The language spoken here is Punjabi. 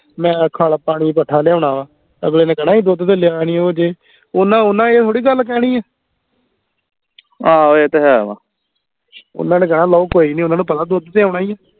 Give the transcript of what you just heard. ਮੈਂ ਖੱਲ ਪਾਣੀ ਕੱਠਾ ਲਿਆਉਣਾ ਵਾ ਅਗਲੇ ਨੇ ਕਹਿਣਾ ਅਸੀਂ ਦੁੱਧ ਤੇ ਲਿਆ ਨਹੀਂਓ ਹਜੇ ਓਹਨਾ ਓਹਨਾ ਇਹ ਗੱਲ ਥੋੜੀ ਕਹਿਣੀ ਏ ਓਹਨਾ ਨੇ ਕਹਿਣਾ ਲਓ ਕੋਈ ਨੀ ਓਹਨਾ ਨੂੰ ਪਤਾ ਦੁੱਧ ਤੇ ਆਉਣਾ ਹੀ ਹੈ